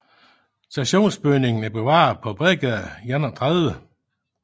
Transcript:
Stationsbygningen er bevaret på Bredgade 31